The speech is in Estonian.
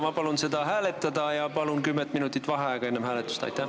Ma palun seda hääletada ja enne hääletust kümme minutit vaheaega!